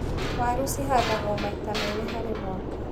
Waru cihandagwo maita merĩ harĩ mwaka.